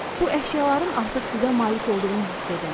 Bu əşyaların artıq sizə malik olduğunu hiss edin.